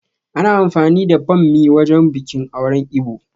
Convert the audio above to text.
Ana amfani da ɓammi wajen biƙin auren Ibo